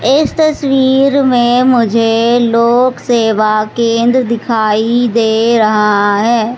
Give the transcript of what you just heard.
इस तस्वीर में मुझे लोकसेवा केन्द्र दिखाई दे रहा है।